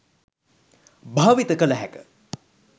භාවිත කළ හැක.